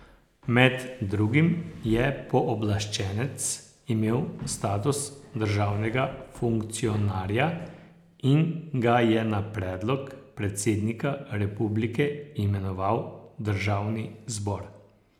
Med drugim je pooblaščenec imel status državnega funkcionarja in ga je na predlog predsednika republike imenoval državni zbor.